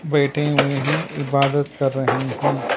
बैठे हुए हैं इबादत कर रहे हैं।